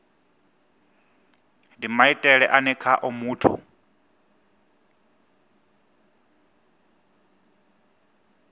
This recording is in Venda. ndi maitele ane khao muthu